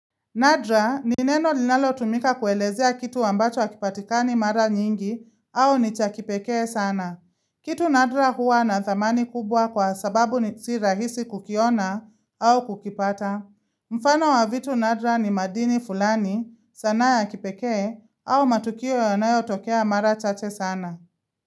Nadra ni neno linalo tumika kuelezea kitu ambacho hakipatikani mara nyingi au ni cha kipekee sana. Kitu Nadra huwa na thamani kubwa kwa sababu ni si rahisi kukiona au kukipata. Mfano wa vitu Nadra ni madini fulani sanaa ya kipekee au matukio yanayo tokea mara chache sana.